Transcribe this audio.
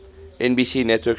nbc network shows